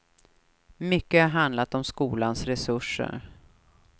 Mycket har handlat om skolans resurser.